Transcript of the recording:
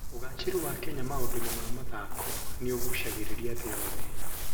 Ũgaacĩru wa Kenya maũndũ-inĩ ma mathako nĩ ũgucagĩrĩria thĩ yothe.